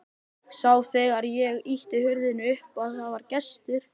Sá þegar ég ýtti hurðinni upp að það var gestur.